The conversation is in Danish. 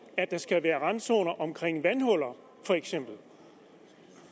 at der skal være randzoner omkring vandhuller